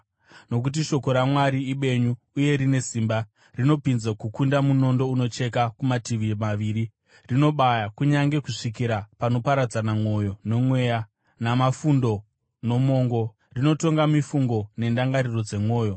Nokuti shoko raMwari ibenyu uye rine simba. Rinopinza kukunda munondo unocheka kumativi maviri, rinobaya kunyange kusvikira panoparadzana mwoyo nomweya, namafundo nomongo; rinotonga mifungo nendangariro dzomwoyo.